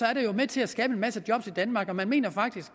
er det jo med til at skabe en masse job i danmark og man mener faktisk